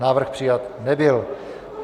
Návrh přijat nebyl.